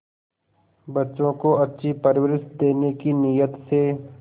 बच्चों को अच्छी परवरिश देने की नीयत से